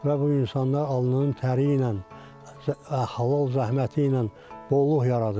Və bu insanlar alnının təri ilə halal zəhməti ilə bolluq yaradır.